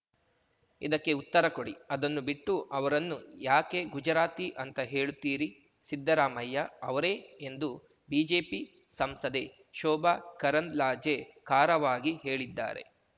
ಇದಕ್ಕೆ ಉತ್ತರ ಕೊಡಿ ಅದನ್ನು ಬಿಟ್ಟು ಅವರನ್ನು ಯಾಕೆ ಗುಜರಾತಿ ಅಂತ ಹೇಳುತ್ತೀರಿ ಸಿದ್ದರಾಮಯ್ಯ ಅವರೇ ಎಂದು ಬಿಜೆಪಿ ಸಂಸದೆ ಶೋಭಾ ಕರಂದ್ಲಾಜೆ ಖಾರವಾಗಿ ಹೇಳಿದ್ದಾರೆ